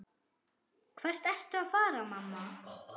Hvert ertu að fara, mamma?